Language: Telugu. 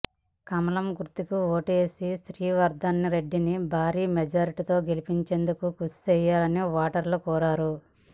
కమలం గుర్తుకు ఓటువేసి శ్రీవర్దన్ రెడ్డిని భారీ మెజారిటీతో గెలిపించేందుకు కృషి చేయాలని ఓటర్లను కోరారు